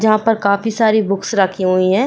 जहां पर काफी सारी बुक्स रखी हुई है।